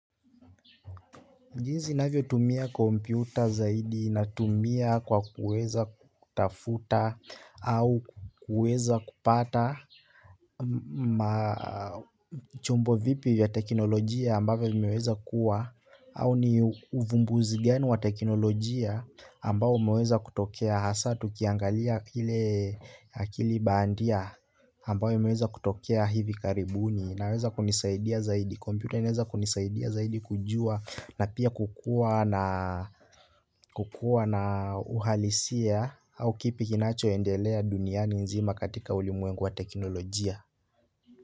Jinsi ninavyo tumia kompyuta zaidi natumia kwa kuweza kutafuta au kuweza kupata. Chombo vipi ya teknolojia ambavyo limiweza kuwa au ni uvumbuzi gani wa teknolojia ambayo umeweza kutokea hasa tukiangalia akili bandia ambayo imeweza kutokea hivi karibuni unaweza kunisaidia zaidi. Kompyuta imeweza kunisaidia zaidi kujua na pia kukua na uhalisia au kipi kinacho endelea duniani nzima katika ulimweng wa teknolojia.